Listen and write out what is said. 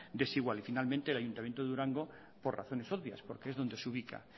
desigual y finalmente el ayuntamiento de durango por razones obvias porque es donde se ubica